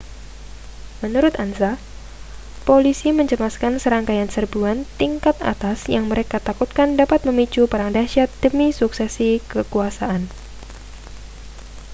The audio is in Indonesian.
menurut ansa polisi mencemaskan serangkaian serbuan tingkat atas yang mereka takutkan dapat memicu perang dahsyat demi suksesi kekuasaan